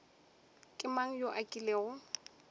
ke mang yo a kilego